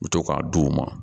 U bɛ to k'a d'u ma